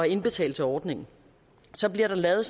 indbetale til ordningen så bliver der lavet